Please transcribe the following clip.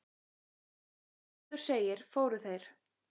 Eins og áður segir, fóru þeir